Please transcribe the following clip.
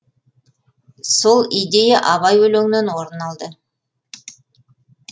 сол идея абай өлеңінен орын алды